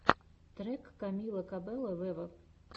трек камила кабелло вево